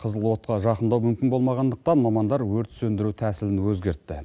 қызыл отқа жақындау мүмкін болмағандықтан мамандар өрт сөндіру тәсілін өзгертті